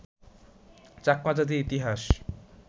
চাকমা জাতির ইতিহাস